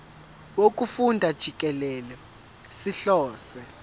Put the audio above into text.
wokufunda jikelele sihlose